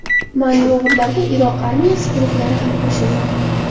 Manyovrlarga Iroq armiyasi guruhlari ham qo‘shildi.